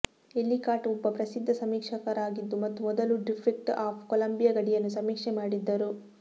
Ellicott ಒಬ್ಬ ಪ್ರಸಿದ್ಧ ಸಮೀಕ್ಷಕರಾಗಿದ್ದರು ಮತ್ತು ಮೊದಲು ಡಿಸ್ಟ್ರಿಕ್ಟ್ ಆಫ್ ಕೊಲಂಬಿಯಾ ಗಡಿಯನ್ನು ಸಮೀಕ್ಷೆ ಮಾಡಿದ್ದರು